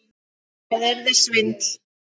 Það yrði svindl.